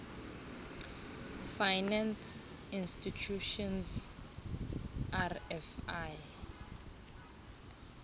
finance institutions rfi